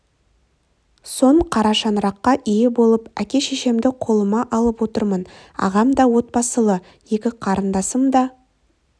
соң қара шаңыраққа ие болып әке-шешемді қолыма алып отырмын ағам да отбасылы екі қарындасым да